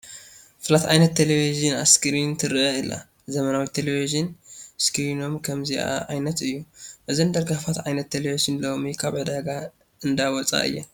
ፍላት ዓይነት ናይ ቴለብዥን እስክሪን ትርአ ኣላ፡፡ ዘመናዊ ቴለብዥን ስክሪኖም ከምዚአ ዓይነት እዩ፡፡ እዘን ደርጋፋት ዓይነት ቴለብዥን ሎሚ ካብ ዕዳጋ እንዳወፃ እየን፡፡